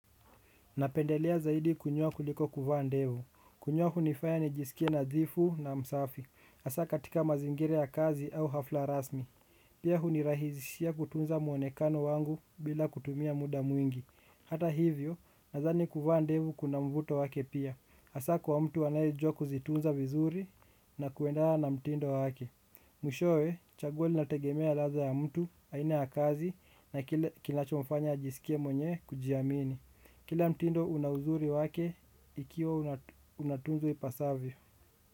Napendelea zaidi kunyoa kuliko kuvaa ndevu. Kunyoa hunifaya nijisikie nadhifu na msafi. Hasa katika mazingira ya kazi au hafla rasmi. Pia hunirahizishia kutunza mwonekano wangu bila kutumia muda mwingi. Hata hivyo, nadhani kuvaa ndevu kuna mvuto wake pia. Hasa kwa mtu anayejua kuzitunza vizuri na kuelewa na mtindo wake. Mwishowe, chaguo linategemea ladha ya mtu, aina ya kazi na kile kinachomfanya ajiskie mwenye kujiamini. Kila mtindo una uzuri wake ikiwa unatunzwa ipasavyo.